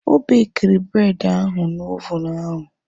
Ọ bekiri bred ahu na ovunu ahu